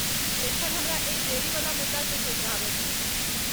एखन हमरा एहि देरीवला मुद्दाकेँ सोझराबय दिअ।